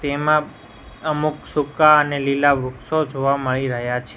તેમાં અમુક સૂકા અને લીલા વૃક્ષો જોવા મળી રહ્યા છે.